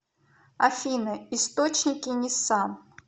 афина источники нисан